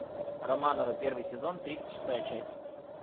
романовы первый сезон тридцать шестая часть